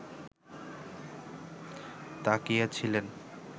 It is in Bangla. তাকিয়েছিলেন